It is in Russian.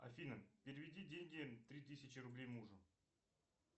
афина переведи деньги три тысячи рублей мужу